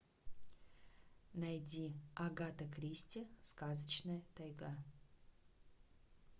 найди агата кристи сказочная тайга